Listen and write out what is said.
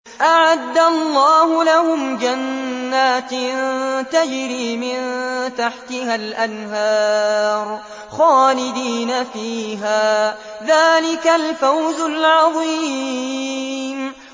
أَعَدَّ اللَّهُ لَهُمْ جَنَّاتٍ تَجْرِي مِن تَحْتِهَا الْأَنْهَارُ خَالِدِينَ فِيهَا ۚ ذَٰلِكَ الْفَوْزُ الْعَظِيمُ